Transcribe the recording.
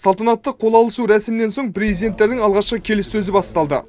салтанатты қол алысу рәсімінен соң президенттердің алғашқы келіссөзі басталды